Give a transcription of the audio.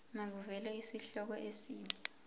makuvele isihloko isib